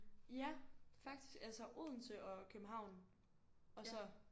Ja faktisk altså Odense og København og så